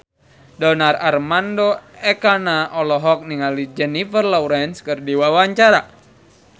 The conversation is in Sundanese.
Donar Armando Ekana olohok ningali Jennifer Lawrence keur diwawancara